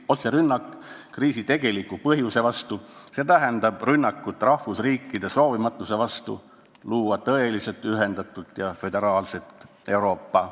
Otserünnak kriisi tegeliku põhjustaja vastu – see tähendab rünnakut rahvusriikide soovimatuse vastu luua tõeliselt ühendatud ja föderaalne Euroopa.